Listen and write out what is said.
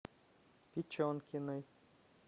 печенкиной